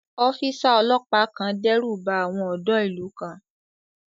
Ọ́físà ọlọ́pàá kan dẹ́rùba àwọn ọ̀dọ́ ìlú kan